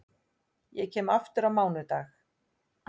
Ég kem aftur á mánudag.